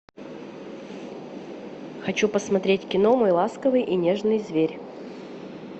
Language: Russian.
хочу посмотреть кино мой ласковый и нежный зверь